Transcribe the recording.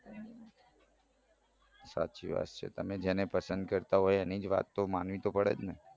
સાચી વાત છે પસંદ કરતા હોય એની જ તો વાત માનવી પડે ને